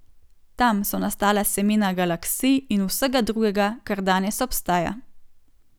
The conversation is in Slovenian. Tam so nastala semena galaksij in vsega drugega, kar danes obstaja.